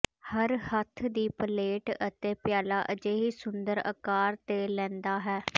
ਹਰ ਹੱਥ ਦੀ ਪਲੇਟ ਅਤੇ ਪਿਆਲਾ ਅਜਿਹੀ ਸੁੰਦਰ ਆਕਾਰ ਤੇ ਲੈਂਦਾ ਹੈ